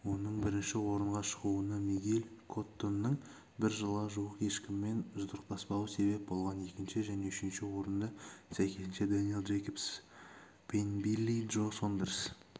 оның бірінші орынға шығуына мигель коттоныңбір жылға жуық ешкіммен жұдырықтаспауы себеп болған екінші және үшінші орында сәйкесіншедэниэл джейкобс пенбилли джо сондерс